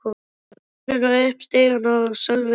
Ég tók stefnuna upp stigann og Sölvi elti.